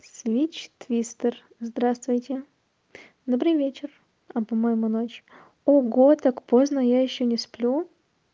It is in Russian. свич твистер здравствуйте добрый вечер а по-моему ночь ого так поздно а я ещё не сплю